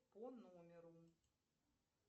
по номеру